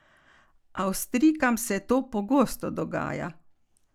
Avstrijkam se to pogosto dogaja.